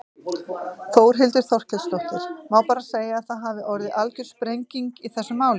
Þórhildur Þorkelsdóttir: Má bara segja að það hafi orðið algjör sprenging í þessum málum?